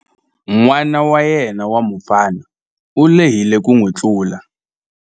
N'wana wa yena wa mufana u lehile ku n'wi tlula.